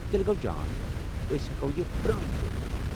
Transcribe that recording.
تیٚلہ گو٘و جان ، أسۍ ہیٛکو یہ پرٛٲنۍ پٲٹھۍ وُچھِتھ ۔